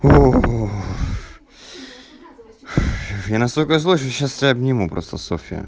оох я настолько злой что сейчас обниму просто софья